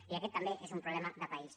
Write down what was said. i aquest també és un problema de país